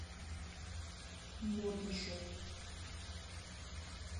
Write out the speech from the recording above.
модно шоп